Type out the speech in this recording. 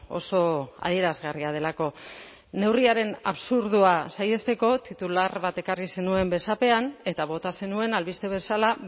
oso adierazgarria delako neurriaren absurdoa saihesteko titular bat ekarri zenuen besapean eta bota zenuen albiste bezala